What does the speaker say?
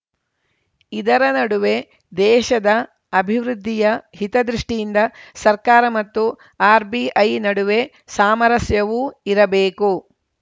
ಇದರ ನಡುವೆ ದೇಶದ ಅಭಿವೃದ್ಧಿಯ ಹಿತದೃಷ್ಟಿಯಿಂದ ಸರ್ಕಾರ ಮತ್ತು ಆರ್‌ಬಿಐ ನಡುವೆ ಸಾಮರಸ್ಯವೂ ಇರಬೇಕು